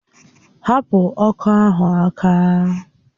Hapụ ọkọ ahụ aka!